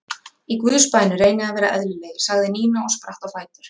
Í Guðs bænum reynið að vera eðlilegir sagði Nína og spratt á fætur.